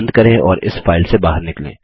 बंद करें और इस फाइल से बाहर निकलें